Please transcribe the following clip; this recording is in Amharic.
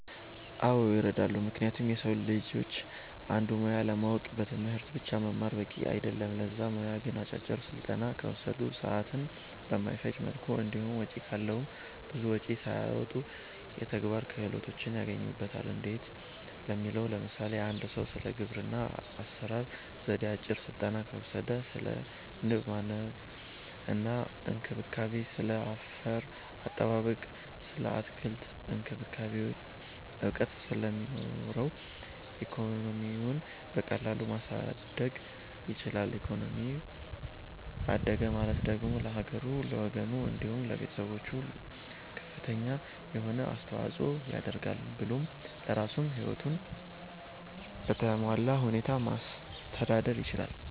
አዎ ይረዳሉ ምክንያቱም የሰዉ ልጆች አንድን ሙያ ለማወቅ በትምህርት ብቻ መማር በቂ አይደለም ለዛ ሙያ ግን አጫጭር ስልጠና ከወሰዱ፣ ሰዓትን በማይፈጅ መልኩ እንዲሁም ወጪ ካለዉም ብዙ ወጪም ሳያወጡ የተግባር ክህሎትን ያገኙበታል እንዴት ለሚለዉ ለምሳሌ፦ አንድ ሰዉ ስለ ግብርና አሰራር ዜዴ አጭር ስልጠና ከወሰደ ስለ ንብ ማነብ እና እንክብካቤ፣ ስለ አፈር አጠባበቅ ስለ አትክልት እክንክብካቤ እዉቀት ስለሚኖረዉ ኢኮኖሚዉን በቀላሉ ማሳደግ ይችላል ኢኮኖሚው አደገ ማለት ደግሞ ለሀገሩ፣ ለወገኑ፣ እንዲሁም ለቤተሰቦቹ ከፍተኛ የሆነ አስተዋፅኦ ያደርጋል ብሎም ለራሱም ህይወቱን በተሟላ ሁኔታ ማስተዳደር ይችላል።